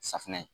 Safunɛ